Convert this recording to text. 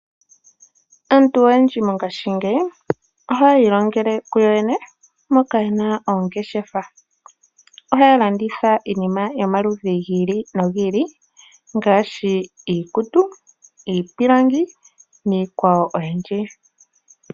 Aantu oyendji mongashingeyi, oha ya ilongele ku yoyene moka yena oongeshefa, oha ya landitha iinima yomaludhi gi ili no gi ili ngaashi, iikutu, iipilangi niikwawo oyindji.